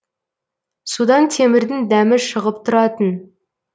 судан темірдің дәмі шығып тұратын